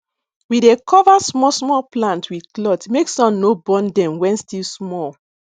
we dey cover small small plant with cloth make sun no burn dem when still small